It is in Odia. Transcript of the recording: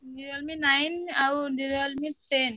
Realme Nine ଆଉ Realme Ten ।